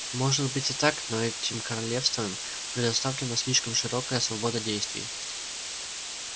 может быть и так но этим королевствам предоставлена слишком широкая свобода действий